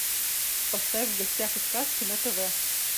поставь в гостях у сказки на тв